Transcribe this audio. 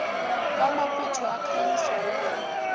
kwamabutho akhanyiswa yilambu